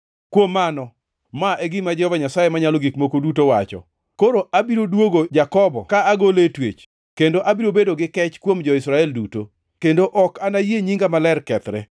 “Kuom mano, ma e gima Jehova Nyasaye Manyalo Gik Moko Duto wacho: Koro abiro duogo Jakobo ka agole e twech kendo abiro bedo gi kech kuom jo-Israel duto; kendo ok nayie nyinga maler kethre.